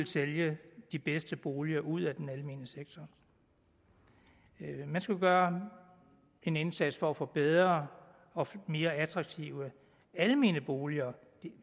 sælge de bedste boliger ud af den almene sektor man skulle gøre en indsats for at få bedre og mere attraktive almene boliger